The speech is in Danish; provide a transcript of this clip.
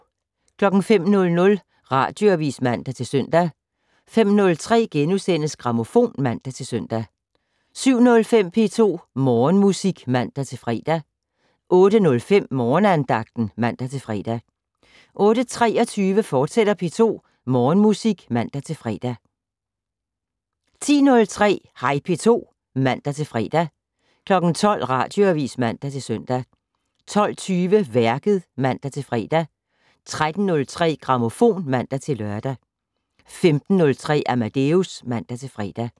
05:00: Radioavis (man-søn) 05:03: Grammofon *(man-søn) 07:05: P2 Morgenmusik (man-fre) 08:05: Morgenandagten (man-fre) 08:23: P2 Morgenmusik, fortsat (man-fre) 10:03: Hej P2 (man-fre) 12:00: Radioavis (man-søn) 12:20: Værket (man-fre) 13:03: Grammofon (man-lør) 15:03: Amadeus (man-fre)